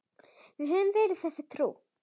Við höfum verið þessu trú.